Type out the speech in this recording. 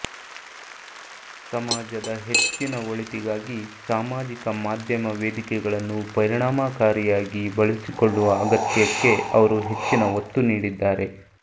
ಸಮಾಜದ ಹೆಚ್ಚಿನ ಒಳಿತಿಗಾಗಿ ಸಾಮಾಜಿಕ ಮಾಧ್ಯಮ ವೇದಿಕೆಗಳನ್ನು ಪರಿಣಾಮಕಾರಿಯಾಗಿ ಬಳಸಿಕೊಳ್ಳುವ ಅಗತ್ಯಕ್ಕೆ ಅವರು ಹೆಚ್ಚಿನ ಒತ್ತು ನೀಡಿದ್ದಾರೆ